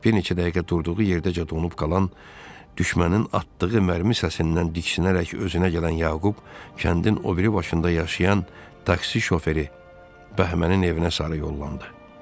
Bir neçə dəqiqə durduğu yerdəcə donub qalan, düşmənin atdığı mərmi səsindən diksinərək özünə gələn Yaqub, kəndin o biri başında yaşayan taksi şoferi Bəhmənin evinə sarı yollandı.